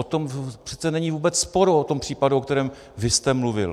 O tom přece není vůbec sporu, o tom případu, o kterém vy jste mluvil.